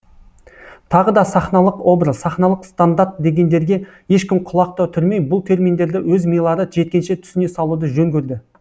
тағы да сахналық образ сахналық стандарт дегендерге ешкім құлақ та түрмей бұл терминдерді өз милары жеткенше түсіне салуды жөн көрді